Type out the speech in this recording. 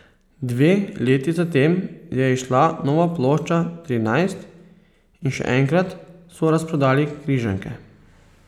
Dve leti zatem je izšla nova plošča Trinajst in še enkrat so razprodali križanke.